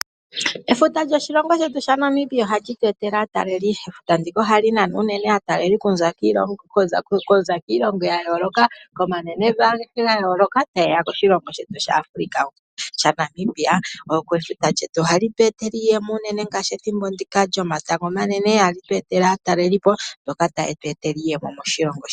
Efuta lyoshilongo shetu shaNamibia ohali tu etele aataleli. Efuta ndika ohali nana unene aataleli okuza kiilongo ya yooloka, komanenevi agehe ga yooloka ta yeya koshilongo shetu shaAfrica shaNamibia. Efuta lyetu ohali tu etele iiyemo unene ngaashi ethimbo ndika lyomatango omanene ohali tu etele aatalelipo mboka ta yetu etele iiyemo moshilongo.